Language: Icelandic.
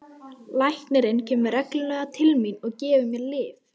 Læknirinn kemur reglulega til mín og gefur mér lyf.